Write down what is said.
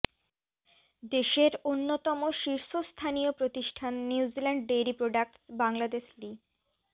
দেশের অন্যতম শীর্ষস্থানীয় প্রতিষ্ঠান নিউজিল্যান্ড ডেইরি প্রোডাক্টস্ বাংলাদেশ লি